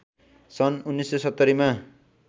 सन् १९७०मा